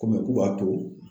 Ko k'u b'a to